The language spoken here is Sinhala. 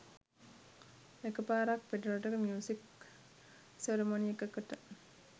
එක පාරක් පිටරටක මියුසික් සෙරමොනි එකකට